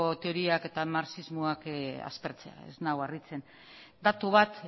teoriak eta marxismoak aspertzea ez nau harritzen datu bat